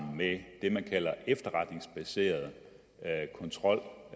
med det man kalder efterretningsbaseret kontrol